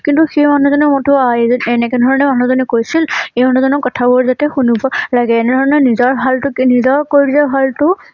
কিন্তু সেই মানুহ জনি মাথোঁ এনেকে ধৰণৰ মানুহ জনিয়ে কৈছিল, এই মানুহ জনৰ কথাবোৰ যাতে শুনিব লাগে এনে ধৰণৰ নিজৰ ভালটো কে নিজৰ কৰিলে ভাল টো